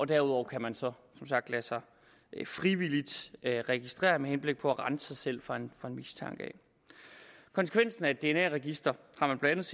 derudover kan man som sagt lade sig frivilligt registrere med henblik på at rense sig selv for en mistanke konsekvensen af at have et dna register har man blandt